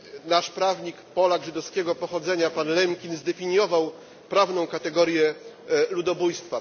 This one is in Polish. Nasz prawnik, Polak żydowskiego pochodzenia, pan Lemkin zdefiniował prawną kategorię ludobójstwa.